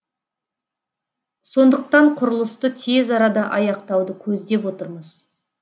сондықтан құрылысты тез арада аяқтауды көздеп отырмыз